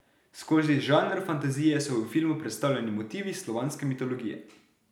Skozi žanr fantazije so v filmu predstavljeni motivi slovanske mitologije.